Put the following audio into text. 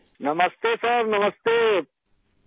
راجیش پرجاپتی نمستے سر نمستے